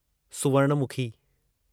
सुवर्णमखी